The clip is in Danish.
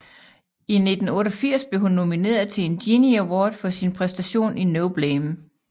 I 1988 blev hun nomineret til en Genie Award for sin præstation i No Blame